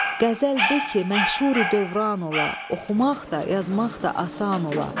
Qəzəl de ki, məşhuri dövran ola, oxumaq da, yazmaq da asan ola.